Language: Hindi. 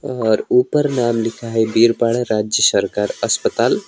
और ऊपर नाम लिखा है बीरपड़ा राज्य सरकार अस्पताल।